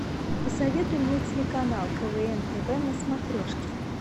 посоветуй мне телеканал квн тв на смотрешке